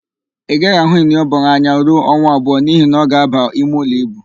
Ị gaghị ahụ Iniobong anya ọ̀zọ́ ruo ọnwa abụọ n'ihi na ọ ga-aba imeụlọ íbù.